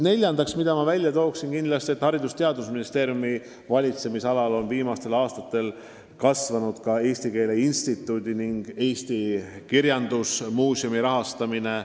Neljandaks toon välja, et Haridus- ja Teadusministeeriumi valitsemisalas on viimastel aastatel kasvanud ka Eesti Keele Instituudi ning Eesti Kirjandusmuuseumi rahastamine.